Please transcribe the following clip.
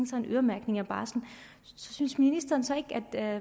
sig en øremærkning af barslen synes ministeren så ikke at det er